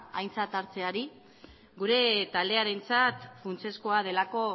aintzat hartzeari gure taldearentzat funtsezkoa delako